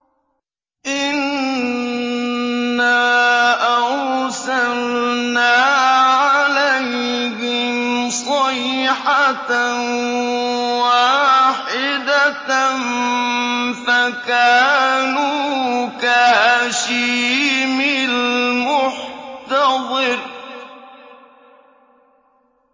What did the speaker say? إِنَّا أَرْسَلْنَا عَلَيْهِمْ صَيْحَةً وَاحِدَةً فَكَانُوا كَهَشِيمِ الْمُحْتَظِرِ